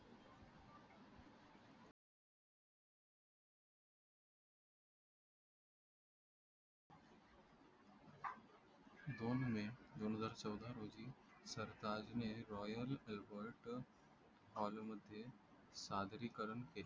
दोन मे दोन हजार चौदा रोजी सरताजने Royal मध्ये सादरीकरण